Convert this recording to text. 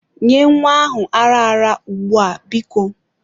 Nye nwa ahụ ara ara ugbu a biko.